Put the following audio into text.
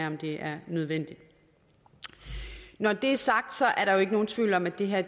om det er nødvendigt når det er sagt er der jo ikke nogen tvivl om at det her